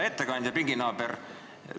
Hea ettekandja, pinginaaber!